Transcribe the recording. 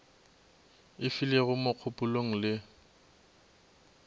e filego mo kgopelong le